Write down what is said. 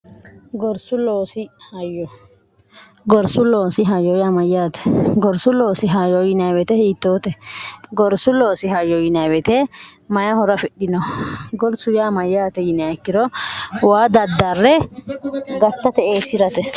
gsihyyamyyate gorsu loosi hayo yinwete hiittoote gorsu loosi hayo yinewete mayi hora afidhino gorsu yaamayyaate yiniekkiro waa daddarre gartate eessi'rate